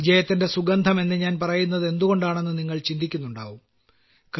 വിജയത്തിന്റെ സുഗന്ധം എന്നു ഞാൻ പറയുന്നതെന്തുകൊണ്ടാണെന്ന് നിങ്ങൾ ചിന്തിക്കുന്നുണ്ടാകും